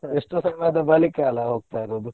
ಎಷ್ಟೋ ಸಮಯದ ಬಳಿಕ ಅಲ್ಲ ಹೋಗ್ತಾ ಇರೋದು.